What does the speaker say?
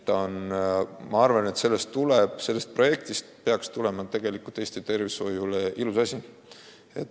Ma arvan, et selle projekti tulemus peaks olema üks ilus asi Eesti tervishoius.